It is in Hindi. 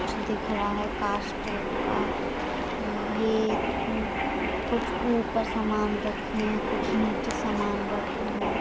कुछ दिख रहा है कांच टाइप का ये कुछ ऊपर समान रखे है कुछ नीचे समान रखे है।